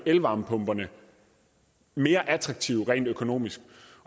elvarmepumperne mere attraktive rent økonomisk